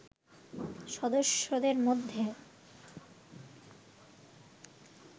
সদস্যদের মধ্যে